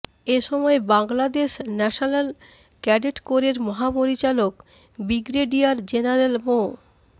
এ সময় Bangladesh national cadet কোরের মহাপরিচালক ব্রিগেডিয়ার জেনারেল মো